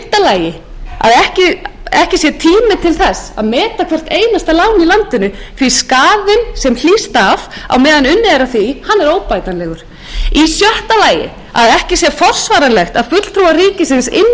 lagi er ekki tími til að meta hvert einasta lán í landinu því að skaðinn sem hlýst af á meðan unnið er að því er óbætanlegur í sjötta lagi er ekki forsvaranlegt að fulltrúar ríkisins inni í bönkunum eigi að hafa